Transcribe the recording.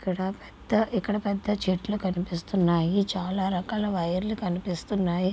ఇక్కడ పెద్ద చెట్లు కనిపిస్తున్నాయి.చాలా రకాల వైర్లు కనిపిస్తున్నాయి.